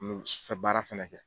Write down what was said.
N'u b'i su fɛ baara fɛnɛ kɛ.